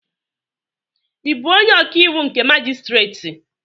Ị bụ onye ọkàiwụ nke majistreti?